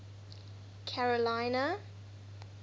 carolina